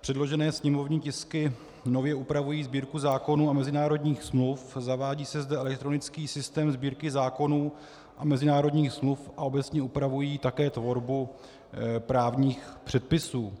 předložené sněmovní tisky nově upravují Sbírku zákonů a mezinárodních smluv, zavádí se zde elektronický systém Sbírky zákonů a mezinárodních smluv a obecně upravují také tvorbu právních předpisů.